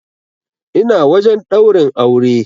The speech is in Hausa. Ina wajen ɗaurin aure.